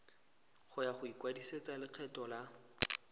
ya go ikwadisetsa lekgetho la